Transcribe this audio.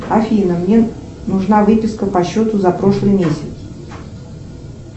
афина мне нужна выписка по счету за прошлый месяц